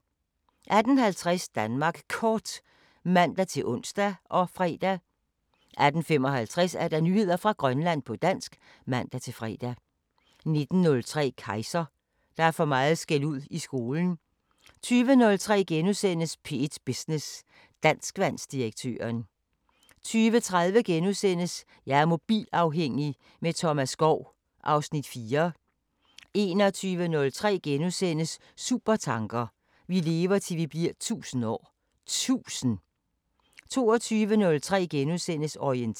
06:04: SommerMorgen (man-fre) 09:04: LOL DK (man-fre) 12:05: Lågsus (man-fre) 15:04: P3 Sporten (man-fre) 15:06: P3 med Mads Gundersen (man-fre) 16:04: P3 Sporten (man-fre) 16:06: P3 med Mads Gundersen (man-fre) 17:04: P3 Sporten (man-fre) 17:06: P3 med Mads Gundersen (man-fre) 18:04: Liga (man-fre)